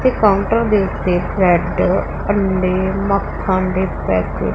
ਤੇ ਕਾਊਂਟਰ ਦੇ ਉੱਤੇ ਬਰੈਡ ਅੰਡੇ ਤੇ ਮੱਖਣ ਦੇ ਪੈਕਟ --